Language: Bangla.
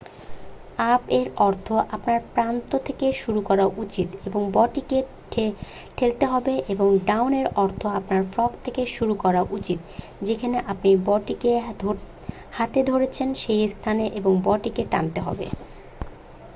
আপ-এর অর্থ আপনার প্রান্ত থেকে শুরু করা উচিত এবং বো-টিকে ঠেলতে হবে এবং ডাউন-এর অর্থ আপনার ফ্রগ থেকে শুরু করা উচিত যেখানে আপনি বো-টিকে হাতে ধরেছেন সেই স্থানে এবং বো-টিকে টানতে হবে।